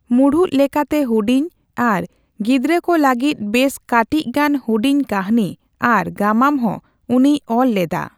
ᱢᱩᱲᱩᱫ ᱞᱮᱠᱟᱛᱮ ᱦᱩᱰᱤᱧ ᱟᱨ ᱜᱤᱫᱽᱨᱟᱹ ᱠᱚ ᱞᱟᱹᱜᱤᱫ ᱵᱮᱥ ᱠᱟᱴᱤᱪ ᱜᱟᱱ ᱦᱩᱰᱤᱧ ᱠᱟᱹᱦᱱᱤ ᱟᱨ ᱜᱟᱢᱟᱢ ᱦᱚᱸ ᱩᱱᱤᱭ ᱚᱞ ᱞᱮᱫᱟ ᱾